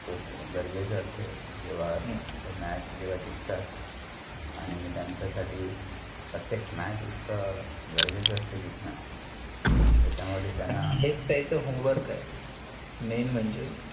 खूप गरजेच असत जेव्हा आह ते match जेव्हा जिकंतात. आणी त्याचं साठी प्रत्येक match इतकं गरजेचं असत जिकंन. त्याचा मध्ये त्याना हेयचं त्याचं home work हे main म्हणजे.